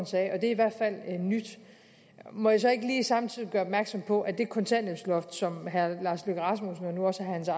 sagde og det er i hvert fald nyt må jeg så ikke lige samtidig gøre opmærksom på at det kontanthjælpsloft som herre lars løkke rasmussen og nu også herre